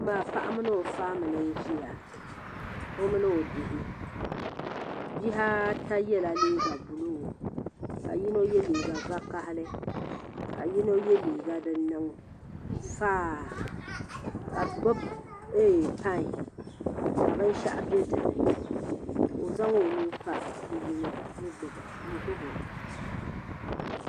Paɣa mini o faamili n ʒia o mini o bihi bihi ata yela liiga buluu ka yino ye liiga vakahali ka yino ye liiga din niŋ faaa ka bɛ gbibi payi ka binshaɣu be dipuuni ka o zaŋ o nuu mpa bi'yino n gbibi o.